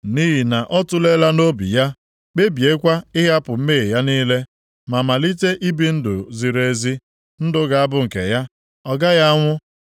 Nʼihi na ọ tuleela nʼobi ya, kpebiekwa ịhapụ mmehie ya niile, ma malite ibi ndụ ziri ezi. Ndụ ga-abụ nke ya. Ọ gaghị anwụ.